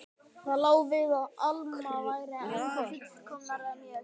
Það lá við að Alma væri ennþá fullkomnari en ég.